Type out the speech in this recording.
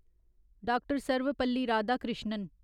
Doctor. Sarvepalli Radhakrishnan